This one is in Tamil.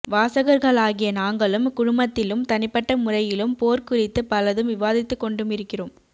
வாசகர்களாகிய நாங்களும் குழுமத்திலும் தனிப்பட்ட முறையிலும் போர் குறித்து பலதும் விவாதித்துக்கொண்டுமிருக்கிறோம்